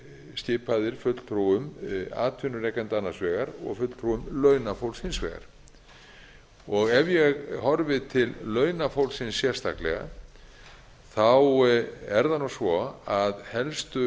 skipaðir fulltrúum atvinnurekenda annars vegar og fulltrúum launafólks hins vegar ef ég horfi til launafólksins sérstaklega er það nú svo að helstu